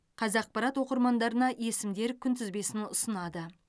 қазақпарат оқырмандарына есімдер күнтізбесін ұсынады